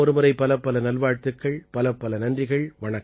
உங்கள் அனைவருக்கும் மீண்டும் ஒருமுறை பலப்பல நல்வாழ்த்துக்கள்